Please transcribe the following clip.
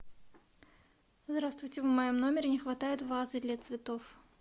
здравствуйте в моем номере не хватает вазы для цветов